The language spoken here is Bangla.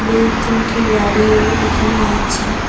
দুই তিনটি গাড়িও ওইখানে আছে।